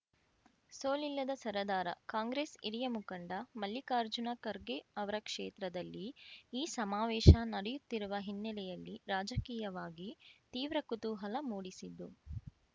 ಸೋಲಿಲ್ಲದ ಸರದಾರ ಕಾಂಗ್ರೆಸ್‌ ಹಿರಿಯ ಮುಖಂಡ ಮಲ್ಲಿಕಾರ್ಜುನ ಖರ್ಗೆ ಅವರ ಕ್ಷೇತ್ರದಲ್ಲಿ ಈ ಸಮಾವೇಶ ನಡೆಯುತ್ತಿರುವ ಹಿನ್ನೆಲೆಯಲ್ಲಿ ರಾಜಕೀಯವಾಗಿ ತೀವ್ರ ಕುತೂಹಲ ಮೂಡಿಸಿದ್ದು